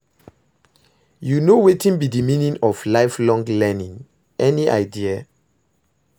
You know wetin be di meaning of lifelong learning, any idea?